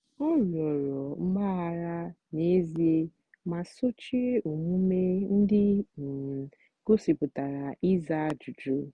ọ rịọrọ mgbaghara n'ezie ma sochie omume ndị um gosipụtara ịza ajụjụ.